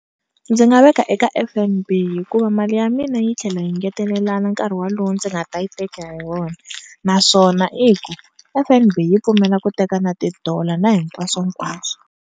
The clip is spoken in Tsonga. Ndzi nga veka eka F_N_B hikuva mali ya mina yi tlhela yi ngetelelana nkarhi wolowo ndzi nga ta yi teka hi wona naswona i ku F_N_B yi pfumela ku teka na ti-dollar na hinkwaswo nkwaswo.